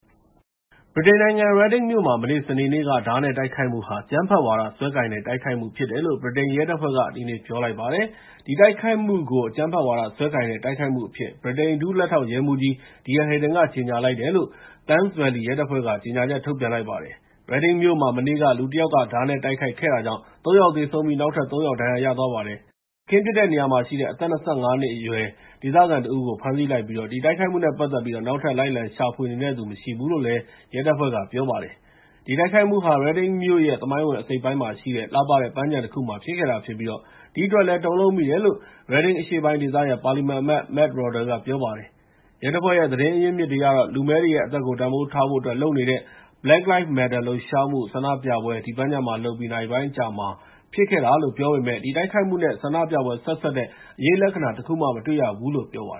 ဗြိတိန်နိုင်ငံ Reading မြို့မှာ မနေ့ စနေနေ့က ဓားနဲ့တိုက်ခိုက်မှုဟာ အကြမ်းဖက်ဝါဒစွဲနဲ့ တိုက်ခိုက်မှုဖြစ်တယ်လို့ ဗြိတိန်ရဲတပ်ဖွဲ့က ဒီနေ့ ပြောလိုက်ပါတယ်။ ဒီတိုက်ခိုက်မှုကို အကြမ်းဖက်ဝါဒစွဲနဲ့ တိုက်ခိုက်မှုအဖြစ် ဗြိတိန် ဒုလက်ထောက်ရဲမှူးကြီး Dear Haydon က ကြေညာလိုက်တယ်လို့ ဒေသခံ Thames Valley ရဲတပ်ဖွဲ့က ကြေငြာချက် ထုတ်ပြန်လိုက်ပါတယ်။ Reading မြို့မှာ မနေ့က လူတယောက်က ဓားနဲ့တိုက်ခိုက်ခဲ့တာကြောင့် ၃ ယောက်သေပြီး နောက်ထပ် ၃ ယောက် ဒဏ်ရာရသွားခဲ့ပါတယ်။ အခင်းဖြစ်တဲ့နေရာမှာရှိတဲ့ အသက် ၂၅ နှစ်အရွယ် ဒေသခံတဦးကို ဖမ်းဆီးလိုက်ပြီး ဒီတိုက်ခိုက်မှုနဲ့ပတ်သက်ပြီး နောက်ထပ် လိုက်လံရှာဖွေနေတဲ့သူ မရှိဘူးလို့လည်း ရဲတပ်ဖွဲ့က ပြောပါတယ်။ ဒီတိုက်ခိုက်မှုဟာ Reading မြို့ရဲ့ သမိုင်းဝင် အစိတ်အပိုင်းမှာရှိတဲ့ လှပတဲ့ ပန်းခြံတခုမှာ ဖြစ်ခဲ့တာဖြစ်ပြီး ဒီအတွက်လည်း တုန်လှုပ်မိတယ်လို့ Reading အရှေ့ပိုင်းဒေသရဲ့ ပါလီမန်အမတ် Matt Rodda က ပြောပါတယ်။ ရဲတပ်ဖွဲ့ သတင်းရင်းမြစ်တွေအရတော့ လူမည်းတွေရဲ့အသက်ကို တန်ဖိုးထားဖို့အတွက် လုပ်နေတဲ့ Black Lives Matter လှုပ်ရှားမှု ဆန္ဒပြပွဲ ဒီပန်းခြံမှာလုပ်ပြီး နာရီပိုင်းအကြာမှာ တိုက်ခိုက်မှုဖြစ်ခဲ့တာလို့ ပြောပေမယ့် ဒီတိုက်ခိုက်မှုနဲ့ ဆန္ဒပြပွဲ ဆက်စပ်တဲ့ အရိပ်လက္ခဏာ တခုမှ မတွေ့ဘူးလို့ ပြောပါ